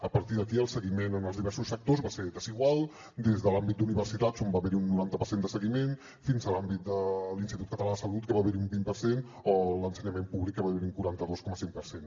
a partir d’aquí el seguiment en els diversos sectors va ser desigual des de l’àmbit d’universitats on va haver hi un noranta per cent de seguiment fins a l’àmbit de l’institut català de salut que va haver hi un vint per cent o a l’ensenyament públic que va haver hi un quaranta dos coma cinc per cent